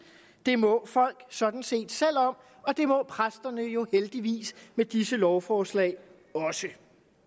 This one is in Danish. det må folk sådan set selv om og det må præsterne jo heldigvis med disse lovforslag også